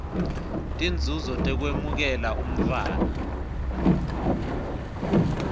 tinzuzo tekwemukela umntfwana